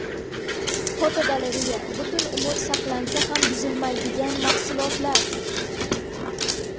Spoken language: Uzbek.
Fotogalereya: Butun umr saqlansa ham buzilmaydigan mahsulotlar.